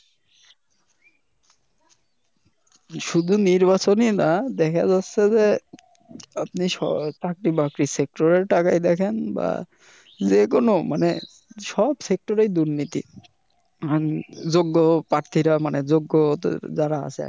শুধু নির্বাচনেই না দেখা যাচ্ছে যে আপনি চাকরি বাকরি sector এ তাকায় দেখেন বা যে কোন মানে সব sector এ দুর্নীতি, যোগ্য পার্থীরা মানে যোগ্যরা যারা আছে আরকি